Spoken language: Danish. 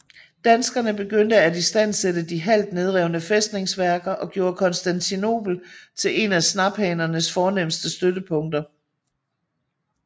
Danskerne begyndte at istandsætte de halvt nedrevne fæstningsværker og gjorde Kristianopel til en af snaphanernes fornemmeste støttepunkter